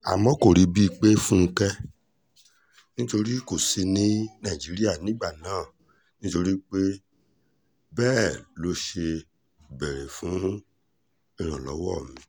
àmọ́ kò ríbi pé fúnkẹ́ nítorí kò sí ní nàìjíríà nígbà náà nítorí bẹ́ẹ̀ ló ṣe béèrè fún ìrànlọ́wọ́ mi